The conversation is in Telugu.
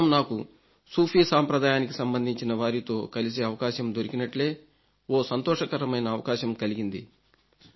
గత వారం నాకు సూఫీ సాంప్రదాయానికి సంబంధించిన వారితో కలిసే అవకాశం దొరికినట్లే ఓ సంతోషకరమైన అవకాశం కలిగింది